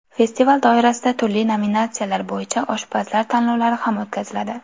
Festival doirasida turli nominatsiyalar bo‘yicha oshpazlar tanlovlari ham o‘tkaziladi.